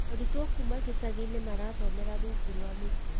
Arutwo kuma icagi-inĩ marathomera rungu rwa mĩtĩ